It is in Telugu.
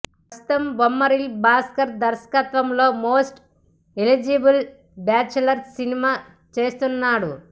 ప్రస్తుతం బొమ్మరిల్లు భాస్కర్ దర్శకత్వంలో మోస్ట్ ఎలిజిబుల్ బ్యాచులర్ సినిమా చేస్తున్నాడు